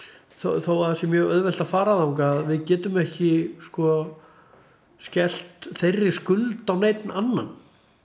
þó að það sé mjög auðvelt að fara þangað við getum ekki skellt þeirri skuld á neinn annan